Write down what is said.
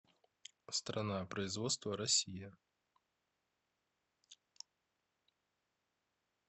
страна производства россия